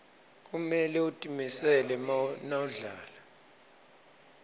kumele utimisele nawudlala